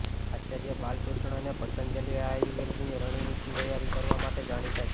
આચાર્ય બાલકૃષ્ણને પતંજલિ આયુર્વેદની રણનીતિ તૈયાર કરવા માટે જાણીતા છે